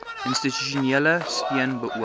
institusionele steun beoog